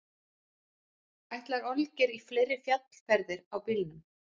Ætlar Olgeir í fleiri fjallferðir á bílnum?